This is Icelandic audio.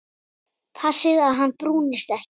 Passið að hann brúnist ekki.